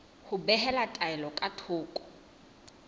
ho behela taelo ka thoko